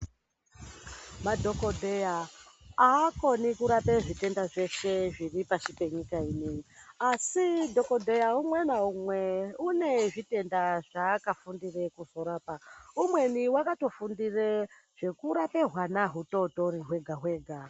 Madhokodheya akoni kurapa zvitenda zveshe zviri pashi penyika ino ,asi dhokodheya umwe ngaumwe une zvitenda zvaakafundira kuzorapa ,umweni wakatofundire zvekurapa hwana hudoko hwega hwega.